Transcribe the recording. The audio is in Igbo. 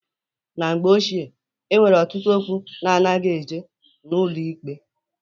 Na mgbe ochie e nwere ọtụtụ okwu na-anaghị eje n'ụlọ ikpe.